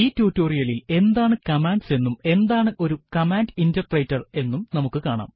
ഈ ടുട്ടോറിയലിൽ എന്താണ് കമാൻഡ്സ് എന്നും എന്താണ് ഒരു കമാൻഡ് ഇന്റെർപ്രെറ്റർ എന്നും നമുക്ക് കാണാം